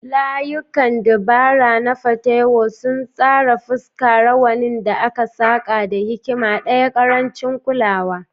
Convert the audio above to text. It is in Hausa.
Layukan dabara na Patewo sun tsara fuska, rawanin da aka saƙa da hikima ɗaya, ƙarancin kulawa.